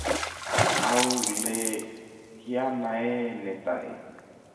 au le kianae netai?